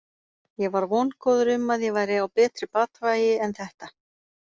Ég var vongóður um að ég væri á betri batavegi en þetta.